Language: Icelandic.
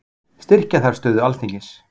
Styrkja þarf stöðu Alþingis